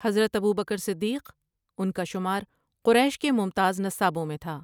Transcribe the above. حضرت ابوبکرؓصدیق ان کا شمار قریش کے ممتاز نسابوں میں تھا۔